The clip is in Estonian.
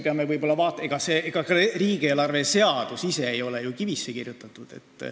Ega riigieelarve seadus ise ei ole ju kivisse raiutud.